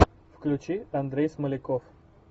включи андрей смоляков